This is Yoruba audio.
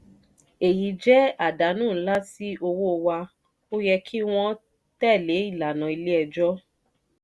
èyí jẹ́ àdánù nlá sí owó wa o yẹ kí wọ́n tẹ̀lé ìlànà ilé ẹjọ́